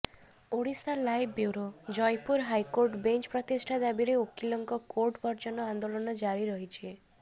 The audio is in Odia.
Odisha live bureau Jeypore high court bench ପ୍ରତିଷ୍ଠା ଦାବିରେ ଓକିଲଙ୍କ କୋର୍ଟ ବର୍ଜନ ଆନ୍ଦୋଳନ ଜାରି ରହିଛି